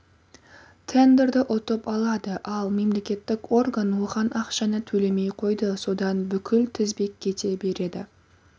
тендерді ұтып алады ал мемлекеттік орган оған ақшаны төлемей қойды содан бүкіл тізбек кете береді